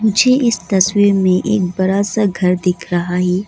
मुझे इस तस्वीर में एक बड़ा सा घर दिख रहा है।